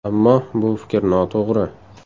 Ammo bu fikr noto‘g‘ri.